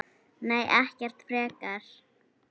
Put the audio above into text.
Nei, ekkert frekar.